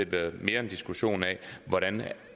været en diskussion af hvordan